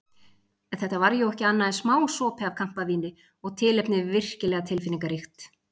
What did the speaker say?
Þetta var jú ekki annað en smásopi af kampavíni og tilefnið virkilega tilfinningaríkt.